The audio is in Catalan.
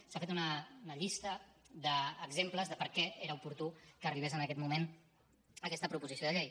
s’ha fet una llista d’exemples de per què era oportú que arribés en aquest moment aquesta proposició de llei